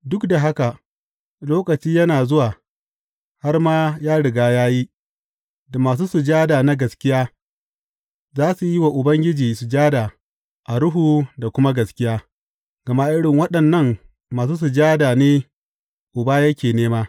Duk da haka, lokaci yana zuwa har ma ya riga ya yi, da masu sujada na gaskiya za su yi wa Uba sujada a Ruhu da kuma gaskiya, gama irin waɗannan masu sujada ne Uba yake nema.